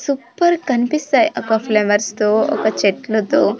Super కనిపిస్తాయి ఒక flowers తో ఒక చెట్లతో.